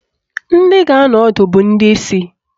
Ndị ga-anọ ọdụ bụ ndị isi